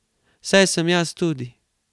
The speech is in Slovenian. Saj sem jaz tudi.